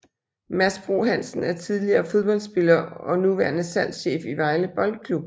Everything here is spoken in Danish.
Mads Bro Hansen er tidligere fodboldspiller og nuværende salgschef i Vejle Boldklub